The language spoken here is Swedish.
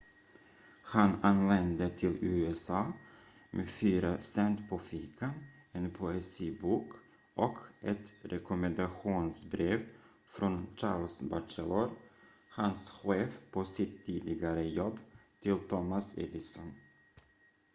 han anlände till usa med fyra cent på fickan en poesibok och ett rekommendationsbrev från charles batchelor hans chef på sitt tidigare jobb till thomas edison